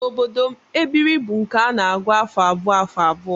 N'obodo m, ebiri bụ nke a na-agụ afọ abụọ afọ abụọ